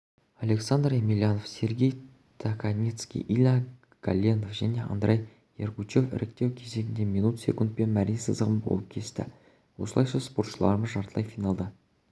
александр емельянов сергей токарницкий илья голендов және андрей ергучев іріктеу кезеңінде минут секундпен мәре сызығын болып кесті осылайша спортшыларымыз жартылай финалда